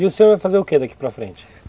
E o senhor vai fazer o quê daqui para frente?